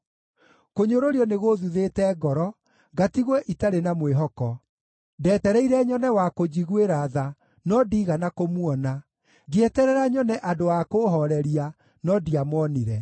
Kũnyũrũrio nĩ gũũthuthĩte ngoro ngatigwo itarĩ na mwĩhoko; ndeetereire nyone wa kũnjiguĩra tha, no ndiigana kũmuona, ngĩeterera nyone andũ a kũũhooreria, no ndiamonire.